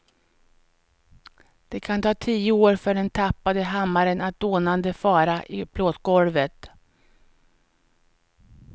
Det kan ta tio år för den tappade hammaren att dånande fara i plåtgolvet.